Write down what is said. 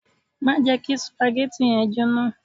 Má jẹ kí supagẹ́tì yẹn jóná.